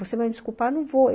Você vai me desculpar, não vou.